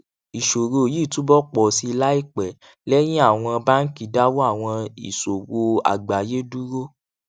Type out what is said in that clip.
ìṣòro yìí túbọ pọ sí i láìpẹ lẹyìn àwọn báńkì dáwọ àwọn ìsòwò àgbáyé dúró